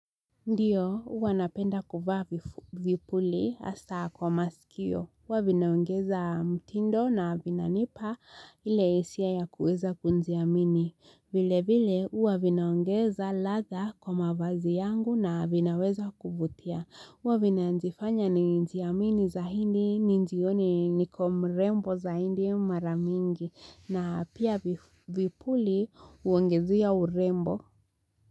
Ndio, huwa napenda kufaa vipuli hasa kwa masikio. Huwa vinaongeza mtindo na vinanipa ile hisia yakuweza kujiamini. Vile vile, huwa vinaongeza ladha kwa mavazi yangu na vinaweza kuvutia. Huwa vinajifanya nijiamini zahindi ni jioni niko mrembo zahindi mara mingi. Na pia vipuli huongezea urembo.